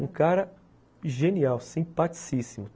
Um cara genial, simpaticíssimo.